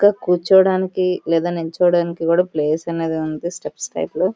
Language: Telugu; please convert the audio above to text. ఇక్కడ కూర్చోడానికి లేక నించోడానికి ప్లేస్ అనేది కనిపిస్తుంది స్టీపీటైపే లో --